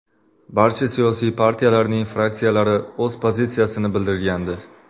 Barcha siyosiy partiyalarning fraksiyalari o‘z pozitsiyasini bildirgandi.